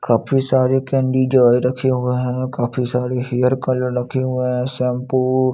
काफी सारे कैंडी जो है रखे हुए है काफी सारे हेयर कलर रखे हुए हैं सेम्पू --